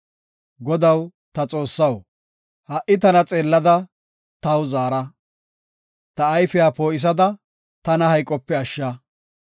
Godaw ta Xoossaw, ha77i tana xeellada taw zaara. Ta ayfiya poo7isada, tana hayqope ashsha.